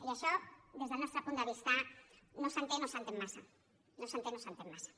i això des del nostre punt de vista no s’entén o s’entén massa no s’entén o s’entén massa